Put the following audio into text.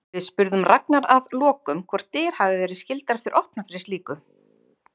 Við spurðum Ragnar að lokum hvort dyr hafi verið skyldar eftir opnar fyrir slíku?